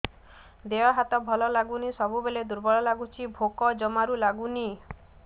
ଦେହ ହାତ ଭଲ ଲାଗୁନି ସବୁବେଳେ ଦୁର୍ବଳ ଲାଗୁଛି ଭୋକ ଜମାରୁ ଲାଗୁନି